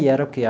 E era o quê?